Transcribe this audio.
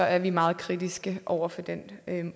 er vi meget kritiske over for den